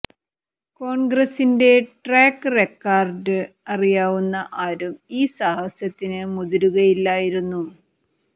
കോണ്ഗ്രസിന്റെ track record അറിയാവുന്ന ആരും ഈ സാഹസത്തിന് മുതിരുക ഇല്ലായിരുന്നു